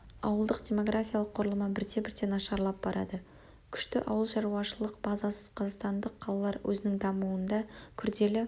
ауылдық демографиялық құрылымы бірте-бірте нашарлап барады күшті ауыл шаруашылық базасыз қазақстандық қалалар өзінің дамуында күрделі